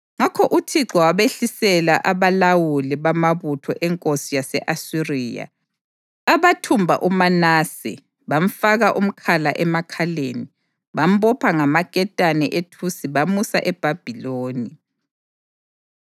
Ngakho uThixo wabehlisela abalawuli bamabutho enkosi yase-Asiriya, abathumba uManase, bamfaka umkhala emakhaleni, bambopha ngamaketane ethusi bamusa eBhabhiloni.